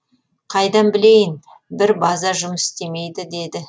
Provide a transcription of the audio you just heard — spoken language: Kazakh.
қайдан білейін бір база жұмыс істемейді дейді